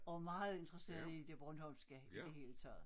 Og meget interesseret i det bornholmske i det hele taget